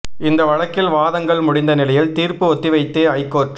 இந்த வழக்கில் வாதங்கள் முடிந்த நிலையில் தீர்ப்பு ஒத்திவைத்து ஐகோர்ட்